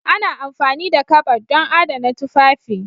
Ana amfani da kabad don adana tufafi.